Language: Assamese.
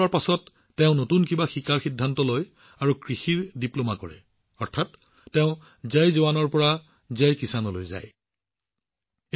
অৱসৰৰ পিছত তেওঁ নতুন কিবা শিকিবলৈ সিদ্ধান্ত লয় আৰু কৃষিত ডিপ্লোমা কৰে অৰ্থাৎ তেওঁ জয় জোৱান জয় কিষাণৰ ফালে আগবাঢ়ি যায়